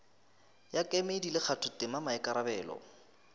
ya kemedi le kgathotema maikarabelo